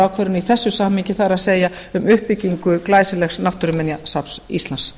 ákvarðanir í þessu samhengi það er um uppbyggingu glæsilegs náttúruminjasafns íslands